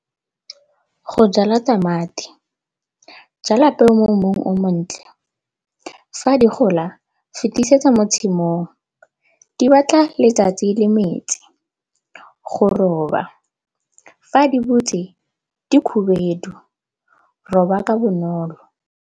Go jala tamati, jala peo mo mmung o montle. Fa di gola fetisetsa mo tshimong, di batla letsatsi le metsi. Go roba, fa di botse di khubedu roba ka bonolo.